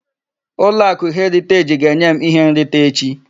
Ụlọakụ Heriteji ga-enye m ihe nrita echi.